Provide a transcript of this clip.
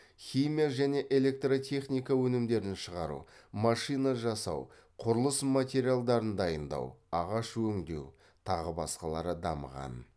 химия және электротехника өнімдерін шығару машина жинау құрылыс материалдарын дайындау ағаш өңдеу тағы басқалары дамыған